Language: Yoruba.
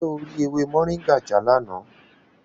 Ṣé o rí ewé Moringa já lánàá?